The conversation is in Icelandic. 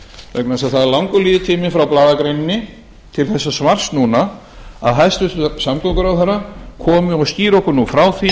vegna þess að það er langur líftími frá blaðagreininni til þessa svars núna að hæstvirtur samgönguráðherra komi og skýri okkur nú frá því